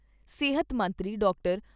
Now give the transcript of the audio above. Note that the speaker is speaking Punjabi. ਸਿਹਤ ਮੰਤਰੀ ਡਾਕਟਰ